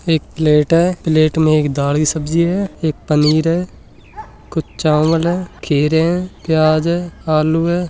एक प्लेट है एक प्लेट में दाल की सब्जी है एक पनीर है कुछ चावल है खीर है प्याज है आलू है।